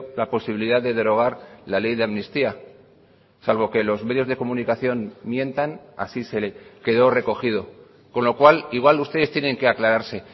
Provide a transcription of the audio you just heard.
la posibilidad de derogar la ley de amnistía salvo que los medios de comunicación mientan así se quedó recogido con lo cual igual ustedes tienen que aclararse